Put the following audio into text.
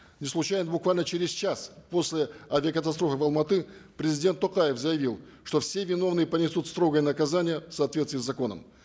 неслучайно буквально через час после авиакатастрофы в алматы президент токаев заявил что все виновные понесут строгое наказание в соответствии с законом